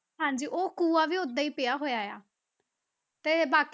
ਹਾਂਜੀ ਉਹ ਖੂਹਾ ਵੀ ਓਦਾਂ ਹੀ ਪਿਆ ਹੋਇਆ ਆ ਤੇ ਬਾਕੀ